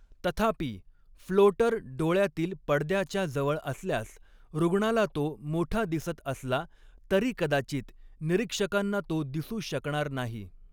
तथापि, फ्लोटर डोळयातील पडद्याच्या जवळ असल्यास, रुग्णाला तो मोठा दिसत असला तरी कदाचित निरीक्षकांना तो दिसू शकणार नाही.